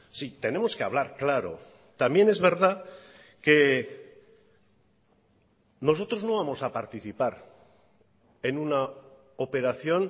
si tenemos que hablar claro también es verdad que nosotros no vamos a participar en una operación